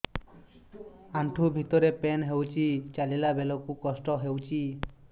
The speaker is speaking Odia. ଆଣ୍ଠୁ ଭିତରେ ପେନ୍ ହଉଚି ଚାଲିଲା ବେଳକୁ କଷ୍ଟ ହଉଚି